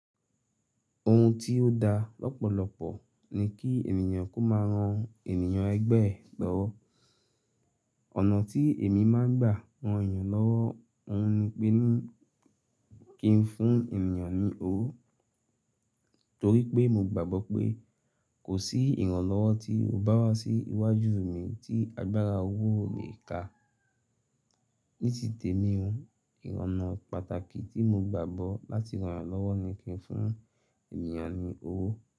Ohun tí ó da lọ́pọ̀lọpọ̀ ni kí ènìyàn kó máa ran ènìyàn ẹgbẹ́ ẹ gbọ́wọ́. Ọ̀nà tí èmi máà ń gbà ran ènìyàn lọ́wọ́, òhun ni pé ní kí n fún ènìyàn ní owó, torí pé mo gbàgbọ́ pé kò sí ìrànlọ́wọ́ tí o bá wá sí iwájú mi tí agbára owó ò lè ká. Ní ti temi ò, onà pàtàkì tí mo gbàgbọ́ láti ran ènìyàn lọ́wọ́ ni kí n fún ènìyàn ní owó.